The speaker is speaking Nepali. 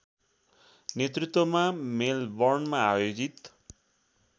नेतृत्वमा मेलबर्नमा आयोजित